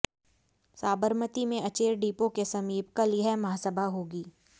साबरमती में अचेर डिपो के समीप कल यह महासभा होगी